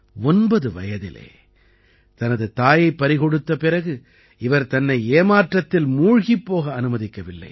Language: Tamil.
9 வயதிலே தனது தாயைப் பறிகொடுத்த பிறகு இவர் தன்னை ஏமாற்றத்தில் மூழ்கிப் போக அனுமதிக்கவில்லை